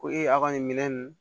Ko e a ka nin minɛ nin